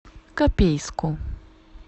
копейску